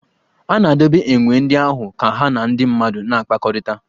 A na-edobe enwe ndị ahụ ka ha na ndị mmadụ na-akpakọrịta.